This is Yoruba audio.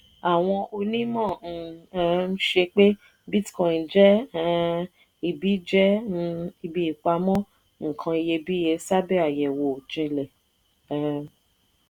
àwọn onímọ̀ ń um ṣe pé bitcoin jẹ́ um ibi jẹ́ um ibi ìpamọ́ nǹkan iyebíye sábẹ́ àyẹ̀wò jinlẹ̀. um